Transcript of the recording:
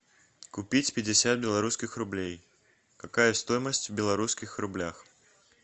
купить пятьдесят белорусских рублей какая стоимость в белорусских рублях